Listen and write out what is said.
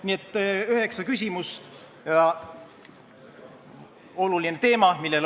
Nii et üheksa küsimust olulisel teemal.